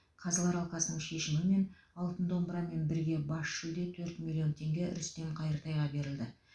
қазылар алқасының шешімімен алтын домбырамен бірге бас жүлде төрт миллион теңге рүстем қайыртайға берілді